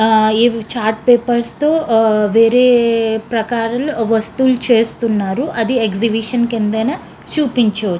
ఆహ్ ఎదో chart papers తో ఆహ్ వేరే ప్రాకారంలో ఏవో వస్తువులు చేస్తున్నారు. అది ఎక్సిబిషన్ చూపించు--